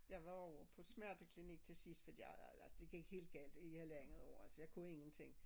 Jeg var jo på smerteklinik til sidst fordi jeg jeg altså det gik helt galt i halvandet år altså jeg kunne ingenting